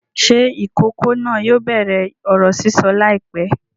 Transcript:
Ṣé ìkókó náà yóò bẹ̀rẹ̀ ọ̀rọ̀ sísọ láìpẹ́?